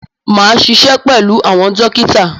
Máa ṣiṣẹ́ pẹ̀lú àwọn dókítà.